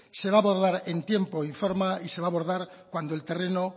se va a abordar en tiempo y forma y se va a abordar cuando el terreno